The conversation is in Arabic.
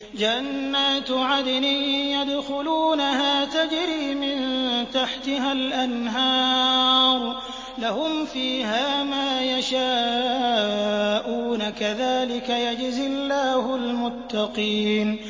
جَنَّاتُ عَدْنٍ يَدْخُلُونَهَا تَجْرِي مِن تَحْتِهَا الْأَنْهَارُ ۖ لَهُمْ فِيهَا مَا يَشَاءُونَ ۚ كَذَٰلِكَ يَجْزِي اللَّهُ الْمُتَّقِينَ